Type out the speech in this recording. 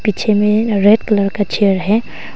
पीछे में red colour का चेयर है।